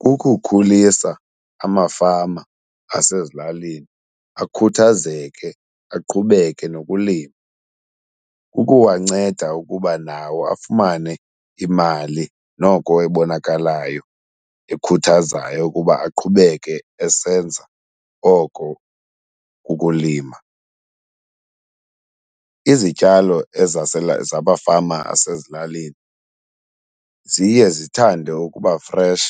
Kukukhulisa amafama asezilalini akhuthazeke aqhubeke nokulima. Kukuwanceda ukuba nawo afumane imali noko ebonakalayo ekhuthazayo ukuba aqhubeke esenza oko kulima. Izityalo zabafama asezilalini ziye zithande ukuba fresh